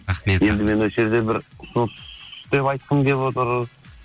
рахмет енді мен осы жерде бір ұсыныс деп айтқым келіп отыр